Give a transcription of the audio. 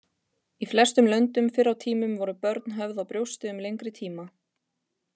Í flestum löndum fyrr á tímum voru börn höfð á brjósti um lengri tíma.